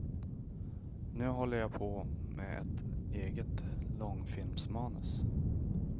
Nu håller jag på med ett eget långfilmsmanus.